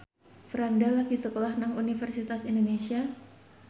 Franda lagi sekolah nang Universitas Indonesia